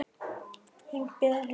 Þínar Gyða og Linda.